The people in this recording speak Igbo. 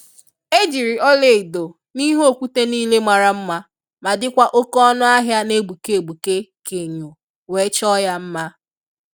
Ejiri ọla edo n'ihe okwute nile mara mma ma dikwa oke ọnụ ahịa n'egbuke egbuke ka enyo, wee chọọ ya mma.